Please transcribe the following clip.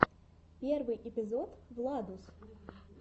первый эпизод владус